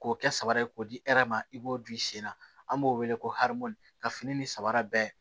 K'o kɛ sabara ye k'o di e yɛrɛ ma i b'o di i sen na an b'o wele ko arabu ka fini ni sabara bɛɛ